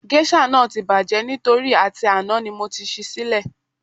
Géṣà náà ti bàjẹ́ nítorí àti àná ni mo ti ṣí í sílẹ̀